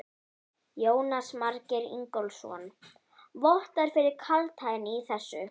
Jónas Margeir Ingólfsson: Vottar fyrir kaldhæðni í þessu?